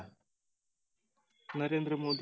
Narendra Modi